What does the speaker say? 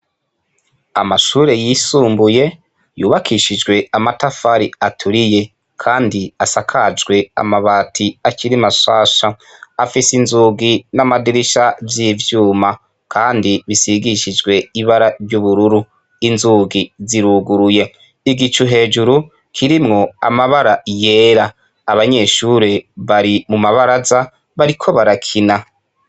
Amashure yisumbuye yubakishijwe amatafari aturiye, kandi asakajwe amabati akiri mashasha afise inzugi n'amadirisha vy'ivyuma, kandi bisigishijwe ibara ry'ubururu inzugi ziruguruye igicu hejuru kirimwo amabara yera abanyeshure bari mu mabaraza bariko barakina.